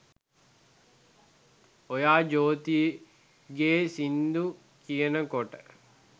ඔයා ජොතිගෙ සින්දු කියනකොට